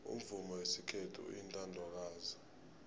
umvumo wesikhethu uyintandokazi